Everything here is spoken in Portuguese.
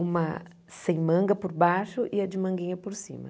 uma sem manga por baixo e a de manguinha por cima.